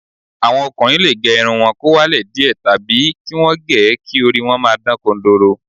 Àwọn ọkùnrin lè gẹ irun wọn kó wálẹ̀ díẹ̀ tàbí kí wọ́n gẹ̀ ẹ́ kí orí wọn máa dán kodoro